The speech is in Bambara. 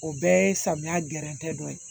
O bɛɛ ye samiya gɛrɛntɛ dɔ ye